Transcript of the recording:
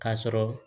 K'a sɔrɔ